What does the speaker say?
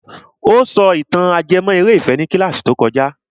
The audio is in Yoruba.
Ó sọ ìtàn ajẹmọ́ eré ìfẹ́ ní kílàsì tó kojá.